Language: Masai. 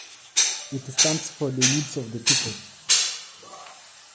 Keitasheki yieunot oo ltung'ana